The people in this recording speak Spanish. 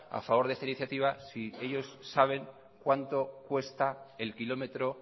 a favor de esta iniciativa si ellos saben cuánto cuesto el kilómetro